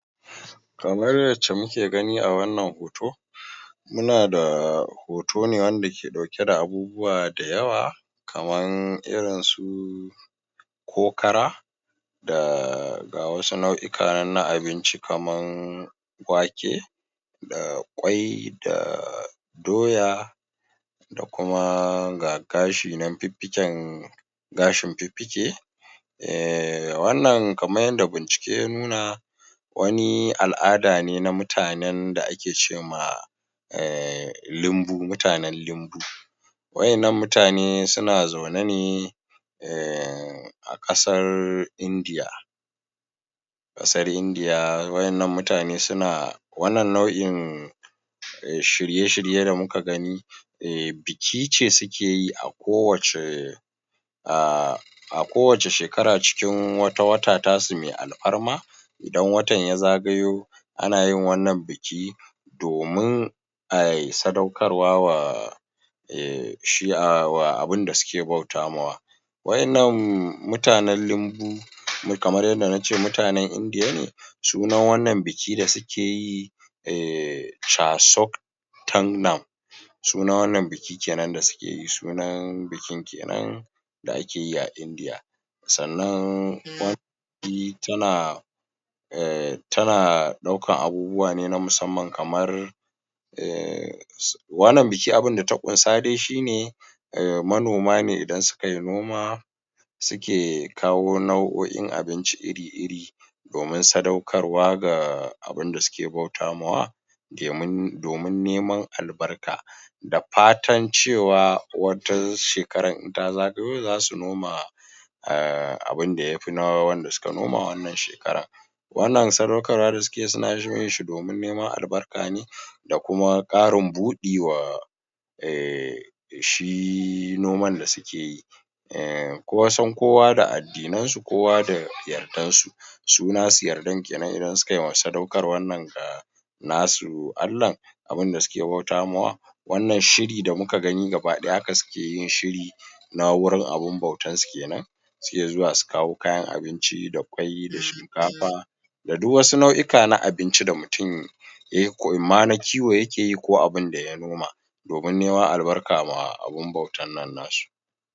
kamar yace muke gani a wannan hoto muna da hoto wanda ke dauke da abubuwa da yawa kaman irin su kokara da ga wasu nau'uka na abinci kaman ƙwaki da ƙwai da doya da kuma ga gashi nan fiffiken gashin fiffike ehm wannan kaman yadda bincike ya nuna wani al'ada ne na mutanen da ake ma ehm limbu mutanen lumbu wa'innan mutane suna zaune ne ehm akasar indiya kasar indiya wa'innan mutane suna wannan nau'in shirye shirye da muka gani ehm bikine sukeyi a kowacce ah a kowace shekara cikin wata wata tasu mai alfarma idan watan ya zagayo anayin wannnan biki domin ayi sadaukarwa wa eh shi abunda suke bautawa wa'innan mutanen limbu kamar yadda nace mutanen indiya ne sunannan wannan biki da suke yi eh casok tannam sunanan wannan biki da suke yi kenan sunan bikin kenan da akeyi a indiya sannann fi tana eh tana daukar abubuwa na musamman kamar ehhm? wannan biki abunda ta kunsa dai shine manoma ne idan sukayi noma suke kawo nau'oin abinci iri iri domin sadaukar wa abinda suke bautawa domin nemen albarka da fatan cewa wata shekara in ta zagayo zasu noma ahh abin da yafi na wannna shekarar wannan sadaukarwa da sukeyi suna yin shine domin neman albarka da kuma karin budi ehhh da shi noman da sukeyi eh kusan kowa da addinan su kowa da yardan su su nasu yardan kenen idan suka sadaukarwan nan nasu allah abun da suke bautawa wannnan shiri da muka gani haka suke yin shiri na wurin abun bautan su kenan suke zuwa su kawo kayan abinci da ƙwai da shinkafa da duk wani nau'oka na abinci da yake in ma na kiwo yakeyi ko abunda ya noma domin nemen albarka ma abun bautan nan nasu